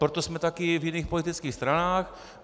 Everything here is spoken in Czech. Proto jsme také v jiných politických stranách.